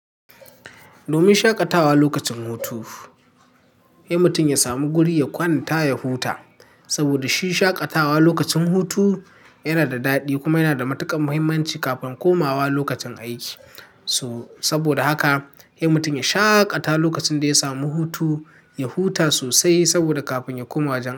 Domin shaƙatawa lokacin hutu, ai mutum ya samu guri ya kwanta ya huta. Saboda shi shaƙatawa lokacin hutu yana da daɗi kuma yana da matuƙar muhimmanci kafin komawa lokacin aiki. So, saboda haka ai mutum ya shaƙata lokacin da ya samu hutu, ya huta sosai saboda kafin ya koma wajen.